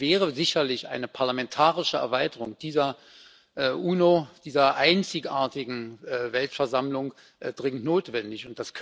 Insofern wäre sicherlich eine parlamentarische Erweiterung dieser UNO, dieser einzigartigen Weltversammlung, dringend notwendig.